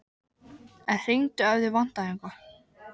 En hringdu ef þig vantar eitthvað.